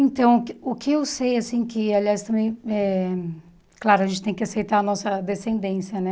Então, o que o que eu sei, assim que aliás, também eh claro, a gente tem que aceitar a nossa descendência, né?